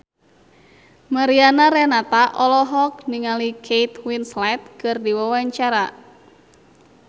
Mariana Renata olohok ningali Kate Winslet keur diwawancara